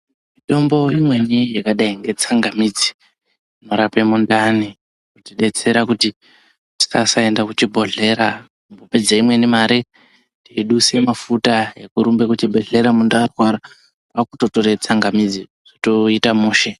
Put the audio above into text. Mitombo imweni yakadai nge tsangamidzi inorapa mundani. Kutidetsera kuti tikasaenda kuchibhondlera kupedza imweni mare teidusa mafuta ekurumba kuchibhedhlera muntu arwara. Kwakutotora tsangamidzi zvotoita mushe.